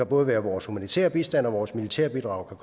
både vores humanitære bistand og vores militærbidrag